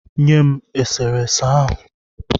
Nye m e sere ese ahụ.